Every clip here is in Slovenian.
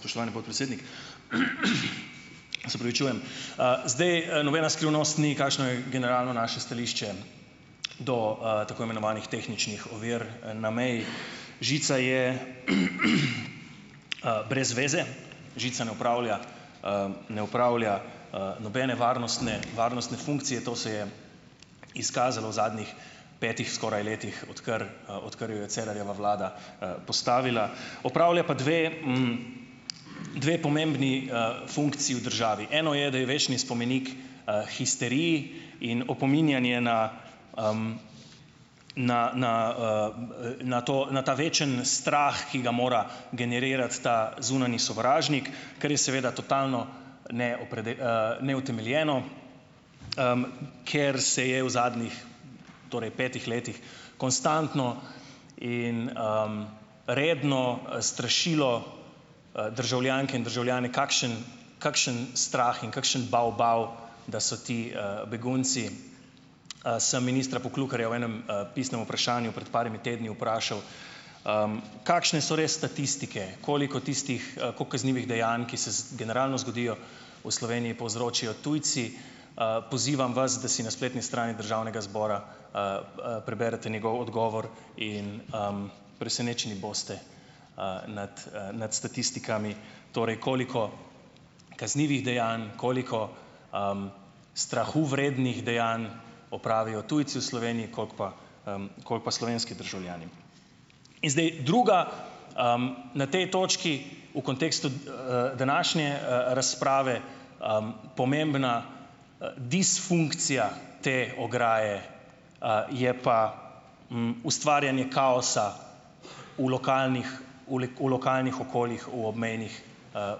Spoštovani gospod predsednik, se opravičujem, zdaj nobena skrivnost ni, kakšno je generalno naše stališče do, tako imenovanih tehničnih ovir na meji. Žica je, brez veze, žica ne opravlja, ne upravlja, nobene varnostne varnostne funkcije, to se je izkazalo zadnjih petih skoraj letih, odkar, odkar jo je Cerarjeva vlada, postavila, opravlja pa dve, dve pomembni, funkciji v državi, eno je, da je večni spomenik, histeriji in opominjanje na, na na, na to, na ta večni strah, ki ga mora generirati ta zunanji sovražnik, kar je seveda totalno ne neutemeljeno, ker se je v zadnjih torej petih letih konstantno in, redno strašilo, državljanke in državljane, kakšen kakšen strah in kakšen bo bo, da so ti, begunci, sem ministra Poklukarja v enem, pisnem vprašanju pred par tedni vprašal, kakšne so res statistike, koliko tistih, koliko kaznivih dejanj, ki se generalno zgodijo v Sloveniji, povzročijo tujci. pozivam vas, da si na spletni strani državnega zbora, preberete njegov odgovor in, presenečeni boste, nad, nad statistikami, torej koliko kaznivih dejanj, koliko, strahu vrednih dejanj opravijo tujci v Sloveniji, koliko pa, koliko pa slovenski državljani. In zdaj druga, na tej točki v kontekstu, današnje, razprave, pomembna, disfunkcija te ograje, je pa, ustvarjanju kaosa v lokalnih v v lokalnih okoljih v obmejnih,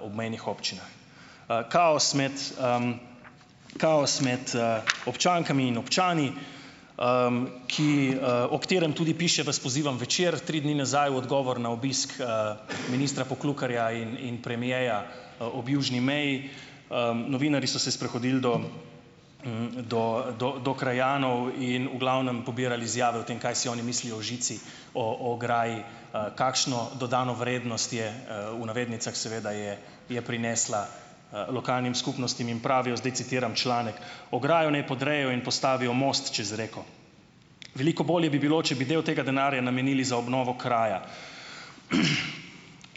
obmejnih občinah, kaos med, kaos med, občankami in občani, ki, o katerem tudi piše, vas pozivam, Večer tri dni nazaj v odgovor na obisk, ministra Poklukarja in in premierja, ob južni meji, novinarji so se sprehodili do, do do do krajanov in v glavnem pobirali izjave o tem, kaj si oni mislijo o žici, o o ograji, kakšno dodano vrednost je, v navednicah seveda je je prinesla, lokalnim skupnostim in pravijo, zdaj citiram članek: "Ograjo naj podrejo in postavijo most čez reko, veliko bolje bi bilo, če bi del tega denarja namenili za obnovo kraja.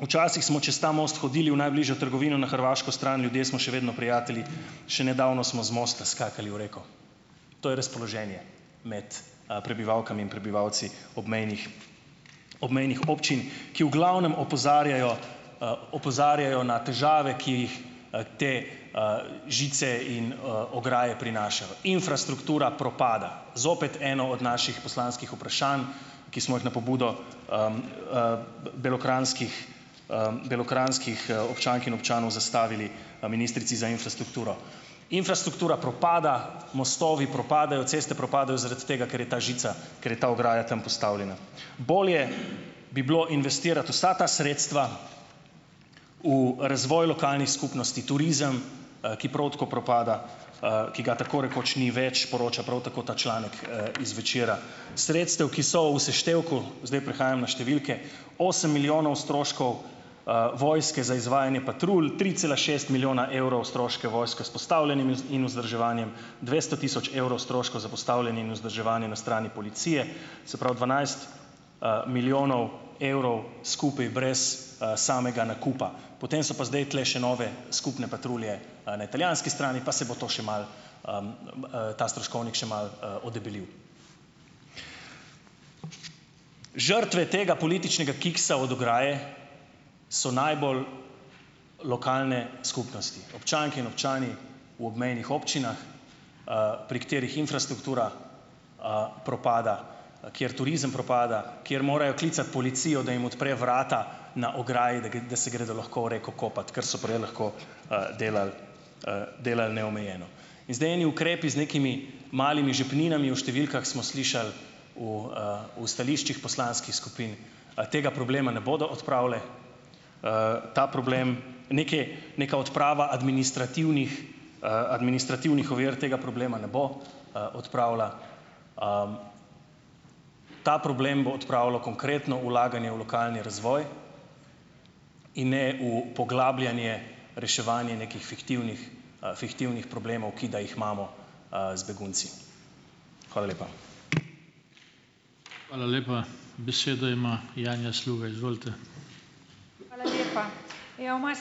Včasih smo čez ta most hodili v najbližjo trgovino na hrvaško stran, ljudje smo še vedno prijatelji, še nedavno smo z mosta skakali v reko." To je razpoloženje med, prebivalkami in prebivalci obmejnih, obmejnih občin, ki v glavnem opozarjajo, opozarjajo na težave, ki jih, te, žice in, ograje prinašajo, infrastruktura propada. Zopet eno od naših poslanskih vprašanj, ki smo jih na pobudo, belokranjskih, belokranjskih, občank in občanov zastavili ministrici za infrastrukturo, infrastruktura propada mostovi propadajo, ceste propadajo, zaradi tega, ker je ta žica, ker je ta ograja tam postavljena, bolje bi bilo investirati vsa ta sredstva v razvoj lokalnih skupnosti, turizem, ki prav tako propada, ki ga tako rekoč ni več, poroča prav tako ta članek, iz Večera, sredstev, ki so v seštevku, zdaj prihajam na številke, osem milijonov stroškov, vojske za izvajanje patrulj tri cela šest milijona evrov, stroške vojske s postavljanjem in vzdrževanjem, dvesto tisoč evrov stroškov za postavljanje in vzdrževanje na strani policije, se pravi, dvanajst, milijonov evrov skupaj brez, samega nakupa. Potem so pa zdaj tule še nove skupne patrulje, na italijanski strani pa se bo to še malo, ta stroškovnik še malo, odebelil. Žrtve tega političnega kiksa od ograje so najbolj lokalne skupnosti, občanke in občani v obmejnih občinah, pri katerih infrastruktura, propada, kjer turizem propada, kjer morajo klicati policijo, da jim odpre vrata na ograji, da se gredo lahko v reko kopat, ker so prej lahko, delali, delali neomejeno in zdaj eni ukrepi z nekimi malimi žepninami, o številkah smo slišali v, v stališčih poslanskih skupin, tega problema ne bodo odpravile, ta problem neki, neka odprava administrativnih, administrativnih ovir tega problema ne bo, odpravila, Ta problem bo odpravljalo konkretno vlaganje v lokalni razvoj in ne v poglabljanje, reševanje nekih fiktivnih, fiktivnih problemov, ki da jih imamo, z begunci. Hvala lepa. Hvala lepa, besedo ima Janja Sluga, izvolite.